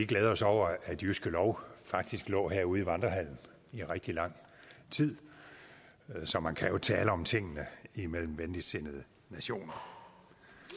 glæde os over at jyske lov jo faktisk lå herude i vandrehallen i rigtig lang tid så man kan jo tale om tingene mellem venligsindede nationer